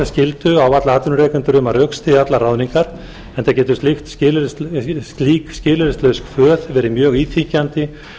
skyldu á atvinnurekendur um að rökstyðja allar ráðningar enda getur slík skilyrðislaus kvöð verið mjög íþyngjandi